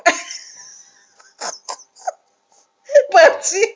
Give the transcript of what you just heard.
માસી